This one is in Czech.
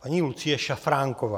Paní Lucie Šafránková.